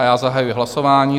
A já zahajuji hlasování.